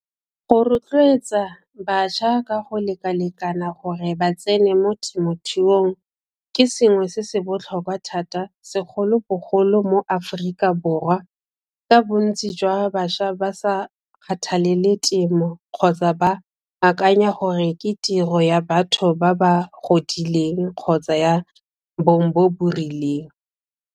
Go rotloetsa bašwa ka go lekalekana gore ba tsene mo temothuong ke sengwe se se botlhokwa thata segolobogolo mo Aforika Borwa ka bontsi jwa bašwa ba sa kgathalele temo kgotsa ba akanya gore ke tiro ya batho ba ba godileng kgotsa ya bong bo bo rileng.